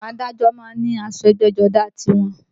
Àwọn adájọ́ náà ní aṣọ ẹgbẹ́jọdá tiwọn